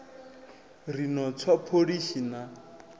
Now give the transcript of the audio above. ri no tswa pholishi na